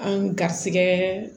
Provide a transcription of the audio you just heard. An ga garisɛgɛ